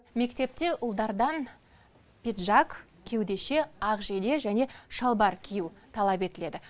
мектепте ұлдардан пиджак кеудеше ақ жейде және шалбар кию талап етіледі